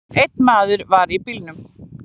Einn maður var í bílnum.